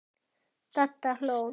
Dadda hló.